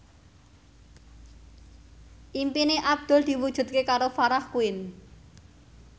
impine Abdul diwujudke karo Farah Quinn